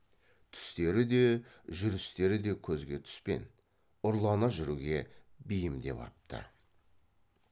түстері де жүрістері де көзге түспен ұрлана жүруге бейімдеп апты